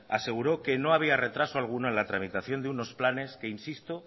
aseguró que no había retraso alguno en la tramitación de unos planes que insisto